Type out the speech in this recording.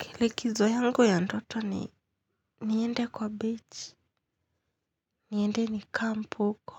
Kile kizo yangu ya ndoto ni niende kwa beach. Niende ni camp uko.